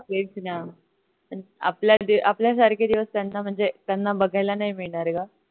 तेच न पण आपल्या आपल्या सारखे दिवस त्यांना म्हणजे त्यांना बघायला नाही मिळणार ग